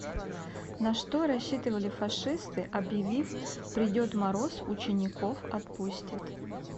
на что рассчитывали фашисты объявив придет мороз учеников отпустят